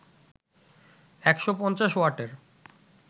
১৫০ ওয়াটের